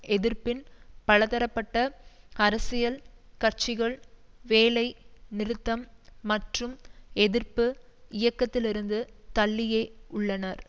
எதிர்ப்பின் பலதரப்பட்ட அரசியல் கட்சிகள் வேலை நிறுத்தம் மற்றும் எதிர்ப்பு இயக்கத்திலிருந்து தள்ளியே உள்ளனர்